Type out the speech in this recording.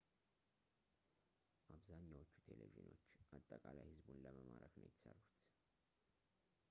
አብዛኛዎቹ ቴሌቪዥኖች አጠቃላይ ሕዝቡን ለመማረክ ነው የተሠሩት